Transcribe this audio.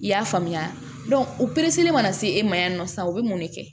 I y'a faamuya o mana na se e ma yan nɔ sisan o be mun de kɛ